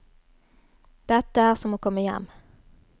Dette er som å komme hjem.